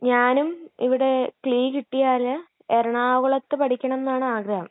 ഞാനും ഇവിടെ ക്‌ളീ കിട്ടിയാല് എറണാകുളത്ത് പഠിക്കണം ന്നാണ് ആഗ്രഹം.